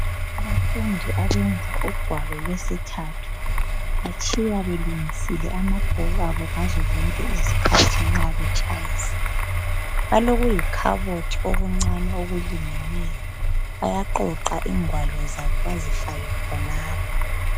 Abafundi abenza ugwalo lwesithathu batshiya belungisile amabhuku abo ngazo zonke izikhathi nxa betshayisa ,balokuyi khabothi okuncani okulingeneyo bayaxoxa ingwalo zabo bazifake khonapho.